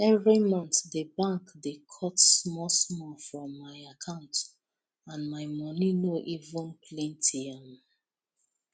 every month the bank dey cut smallsmall from my account and my money no even plenty um